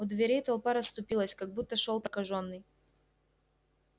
у дверей толпа расступилась как будто шёл прокажённый